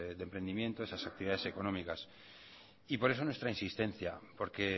de emprendimiento a esas actividades económicas y por eso nuestra insistencia porque